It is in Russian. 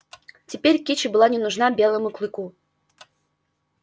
теперь кичи была не нужна белому клыку